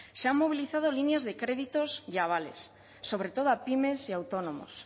se han movilizado líneas de créditos y avales sobre todo a pymes y autónomos